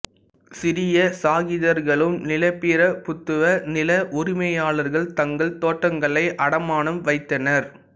சிறிய சாகிர்தார்களும் நிலப்பிரபுத்துவ நில உரிமையாளர்கள் தங்கள் தோட்டங்களை அடமானம் வைத்தனர்